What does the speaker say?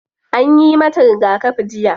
Anyi mata rigakafi jiya.